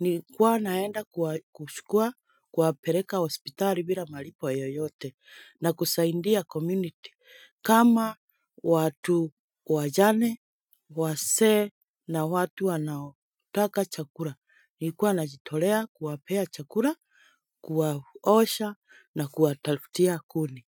Nilikuwa naenda kuchukua kuwapeleka hospitali bila malipo yoyote na kusaidia community kama watu wajane, wazee na watu wanaotaka chakula. Nilikuwa najitolea kuwapea chakula, kuwaosha na kuwatafutia kuni.